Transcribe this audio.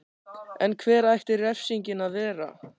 En hver ætti refsingin að vera?